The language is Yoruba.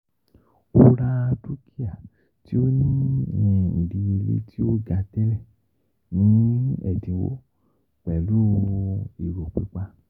O ra dukia ti o ni idiyele ti o ga tẹlẹ ni ẹdinwo pẹlu ero pipa.